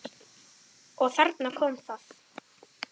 Ýsan er samt vinsæl.